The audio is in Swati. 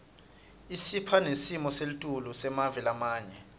isipha nesimo selitulu semave lamanye